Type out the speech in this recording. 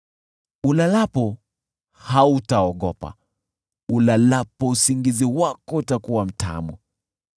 ulalapo, hautaogopa; ulalapo usingizi wako utakuwa mtamu.